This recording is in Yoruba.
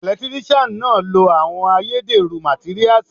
Ẹ̀lẹ́tíríṣiàn náà lo àwọn ayédẹ̀rú màtíríasì.